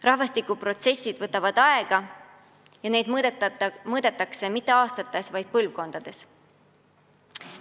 Rahvastikuprotsessid võtavad aega ja neid mõõdetakse mitte aastates, vaid põlvkondades.